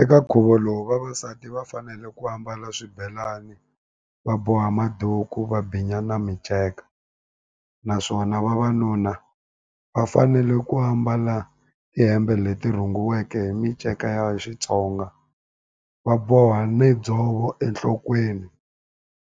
Eka nkhuvo lowu vavasati va fanele ku ambala swibelani va boha maduku va binya na minceka naswona vavanuna va fanele ku ambala tihembe leti rhungiweke hi minceka ya Xitsonga va boha ni dzovo enhlokweni